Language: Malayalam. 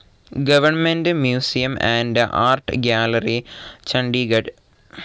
government museum and art gallery, Chandigarh